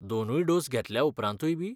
दोनूय डोस घेतल्या उपरातूंय बी?